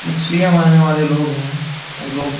मछलियाँ मारने वाले लोग हैं वो लोग --